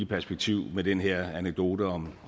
perspektiv med den her anekdote om